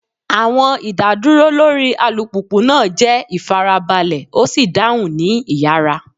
Awọn idaduro lori alupupu naa jẹ ifarabalẹ o si dahun ni iyara.